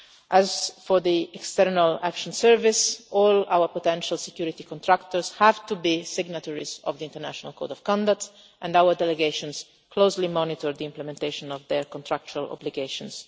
As for the External Action Service all our potential security contractors have to be signatories of the International Code of Conduct and our delegations closely monitor the implementation of their contractual obligations.